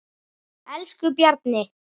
Elsku Bjarni.